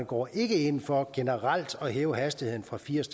går ind for generelt at hæve hastigheden fra firs